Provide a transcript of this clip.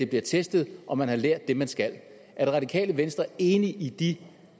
bliver testet om man har lært det man skal er det radikale venstre enig i de